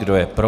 Kdo je pro?